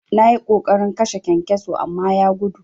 Nayi ƙoƙarin kashe kyankyaso amma ya gudu.